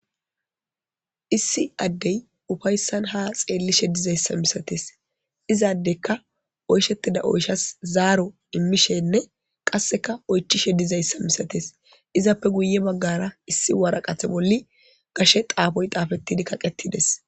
Issi udey ufaysan ha xeelishe dizaysa misates izadeka oyshetida oyshas zaaro immishenne qaseka oychishe dizaysa misatees izape guye bagara issi woraqati bolli gashe xaafoy xaafetidi kaqetides